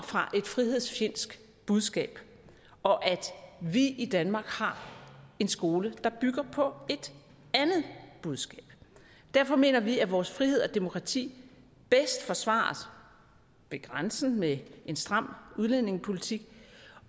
fra et frihedsfjendsk budskab og at vi i danmark har en skole der bygger på et andet budskab derfor mener vi at vores frihed og demokrati bedst forsvares ved grænsen med en stram udlændingepolitik